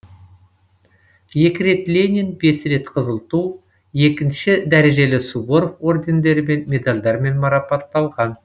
екі рет ленин бес рет қызыл ту екінші дәрежелі суворов ордендерімен медальдармен марапатталған